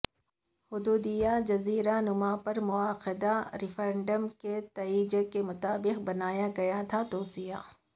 حدود یہ جزیرہ نما پر منعقدہ ریفرنڈم کے نتائج کے مطابق بنایا گیا تھا توسیع